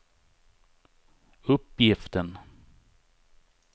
uppgiften